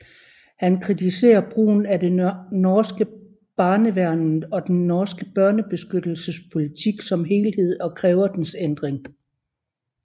Han kritiserer brugen af det norske Barnevernet og den norske børnebeskyttelsespolitik som helhed og kræver dens ændring